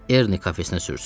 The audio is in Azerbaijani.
Erni kafesinə sürsün.